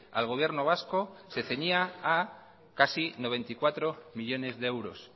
al gobierno vasco se ceñía a casi noventa y cuatro millónes de euros